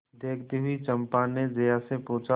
देखती हुई चंपा ने जया से पूछा